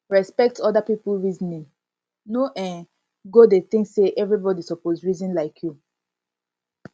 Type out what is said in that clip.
respekt oda pipo reasoning no um go dey think sey evribodi soppse reason like yu